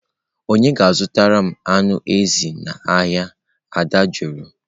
"Ònye ga-azụtara m anụ ezi n'ahịa?" Ada jụrụ